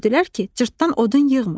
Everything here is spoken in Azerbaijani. Gördülər ki, Cırtdan odun yığmır.